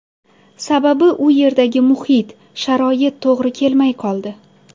Sababi u yerdagi muhit, sharoit to‘g‘ri kelmay qoldi.